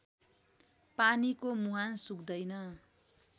पानीको मुहान सुक्दैन